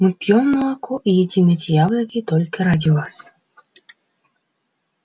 мы пьём молоко и едим эти яблоки только ради вас